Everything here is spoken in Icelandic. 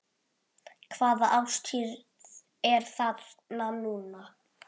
Hvaða árstíð er þarna núna?